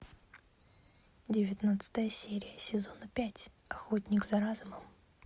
девятнадцатая серия сезона пять охотник за разумом